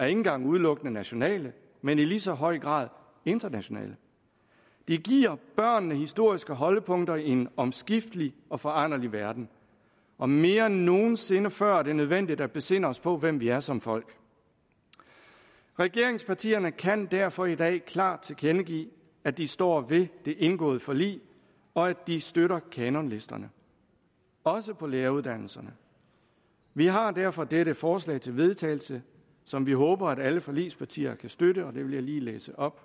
engang udelukkende nationale men i lige så høj grad internationale de giver børnene historiske holdepunkter i en omskiftelig og foranderlig verden og mere end nogen sinde før er det nødvendigt at besinde os på hvem vi er som folk regeringspartierne kan derfor i dag klart tilkendegive at de står ved det indgåede forlig og at de støtter kanonlisterne også på læreruddannelserne vi har derfor dette forslag til vedtagelse som vi håber alle forligspartier kan støtte og det vil jeg lige læse op